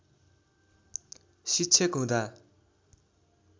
शिक्षक हुँदा